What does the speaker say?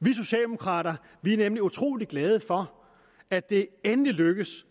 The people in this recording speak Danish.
vi socialdemokrater er nemlig utrolig glade for at det endelig er lykkedes